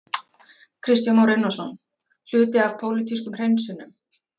Kristján Már Unnarsson: Hluti af pólitískum hreinsunum?